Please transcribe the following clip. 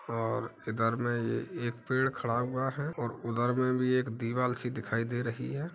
और इधर में ये एक पेड़ खड़ा हुआ है और उधर में भी एक दीवाल सी दिखाई दे रही है।